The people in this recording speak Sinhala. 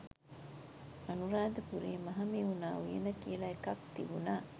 අනුරාධපුරේ මහමෙවුනා උයන කියලා එකක් තිබුනා.